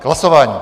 K hlasování.